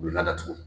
U bɛ ladatugu